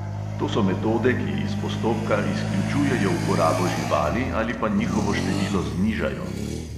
To so metode, ki iz postopka izključujejo uporabo živali ali pa njihovo število znižajo.